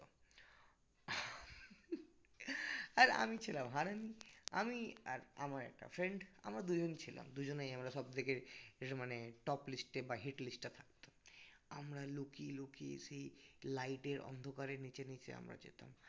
আর আমি ছিলাম হারামি আমি আর আমার একটা friend আমরা দুজন ছিলাম দুজনেই আমরা সব থেকে মানে top list এ বা head list এ থাকতাম আমরা লুকিয়ে লুকিয়ে সেই light এর অন্ধকারে নীচে নীচে আমরা যেতাম